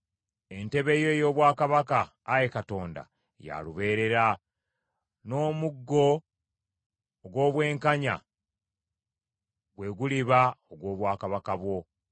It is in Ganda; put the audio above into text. Entebe yo ey’obwakabaka, Ayi Katonda, ya lubeerera; n’omuggo ogw’obwenkanya gwe guliba ogw’obwakabaka bwo.